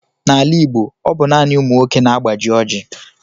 N'ala Igbo, ọ bụ naanị ụmụ nwoke na-agbaji Oji.